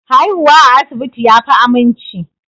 Haihuwa a asibiti yafi aminci